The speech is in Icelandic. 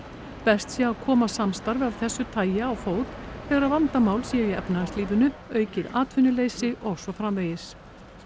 best sé að koma samstarfi af þessu tagi á fót þegar vandamál séu í efnahagslífinu aukið atvinnuleysi og svo framvegis